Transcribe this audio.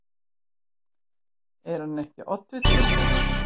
Er hann ekki oddviti líka?